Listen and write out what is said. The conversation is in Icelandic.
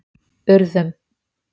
Urðum